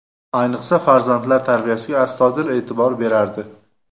Ayniqsa, farzandlar tarbiyasiga astoydil e’tibor berardi.